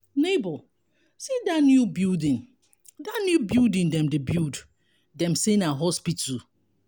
nebor see dat new building dat new building dem dey build dem say na hospital.